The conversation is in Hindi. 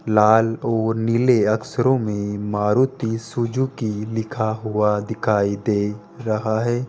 लाल और नीले अक्षरों में मारुति सुजुकी लिखा हुआ दिखाई दे रहा है।